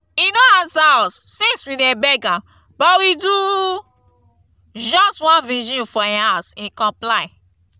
e no answer us since we dey beg am but we do just one vigil for im house he comply